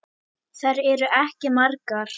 Þær eru ekki margar.